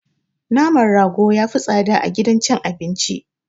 Naman rago yafi tsada a gidan cin abinci.